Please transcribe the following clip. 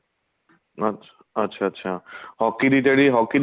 ਅੱਛਾ ਅੱਛਾ ਅੱਛਾ hockey ਦੀ ਜਿਹੜੀ hockey ਦੀ